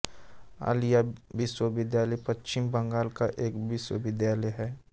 आलिया विश्वविद्यालय पश्चिम बंगाल का एक विश्वविद्यालय है